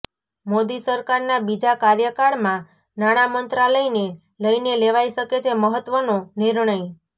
મોદી સરકારના બીજા કાર્યકાળમાં નાણાં મંત્રાલયને લઈને લેવાઈ શકે છે મહત્વનો નિર્ણય